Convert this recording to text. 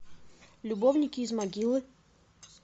любовники из могилы